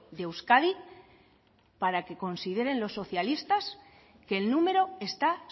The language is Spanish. de euskadi para que consideren los socialistas que el número está